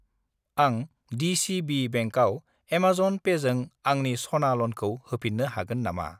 आं दि.सि.बि. बेंकआव एमाजन पेजों आंनि सना ल'नखौ होफिन्नो हागोन नामा?